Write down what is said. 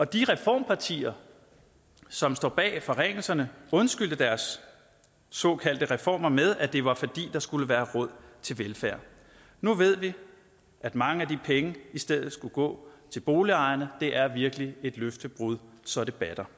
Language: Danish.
de reformpartier som står bag forringelserne undskyldte deres såkaldte reformer med at det var fordi der skulle være råd til velfærd nu ved vi at mange af de penge i stedet skulle gå til boligejerne det er virkelig et løftebrud så det batter